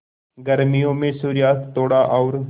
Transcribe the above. गर्मियों में सूर्यास्त थोड़ा और